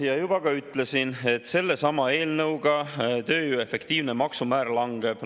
Ja juba ka ütlesin, et sellesama eelnõuga tööjõu efektiivne maksumäär langeb.